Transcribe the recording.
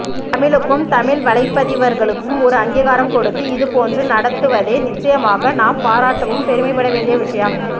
தமிழுக்கும் தமிழ் வலைப்பதிவர்களுக்கும் ஒரு அங்கீகாரம் கொடுத்து இதுபோன்று நடத்துவதே நிச்சயமாக நாம் பாராட்டவும் பெருமைப்பட வேண்டிய விஷயம்